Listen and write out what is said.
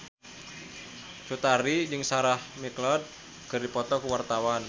Cut Tari jeung Sarah McLeod keur dipoto ku wartawan